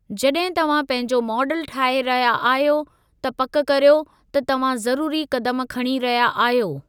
जॾहिं तव्हां पंहिंजो मॉडल ठाहे रहिया आहियो, त पक़ कर्यो त तव्हां ज़रूरी क़दम खणी रहिया आहियो।